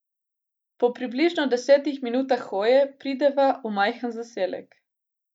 Po približno desetih minutah hoje prideva v majhen zaselek.